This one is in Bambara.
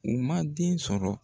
U man den sɔrɔ.